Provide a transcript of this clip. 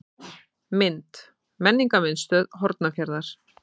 Mynd: Menningarmiðstöð Hornafjarðar.